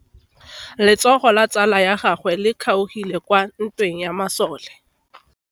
Letsogo la tsala ya gagwe le kgaogile kwa ntweng ya masole.